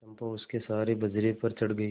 चंपा उसके सहारे बजरे पर चढ़ गई